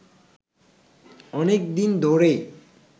অনেকদিন ধরেই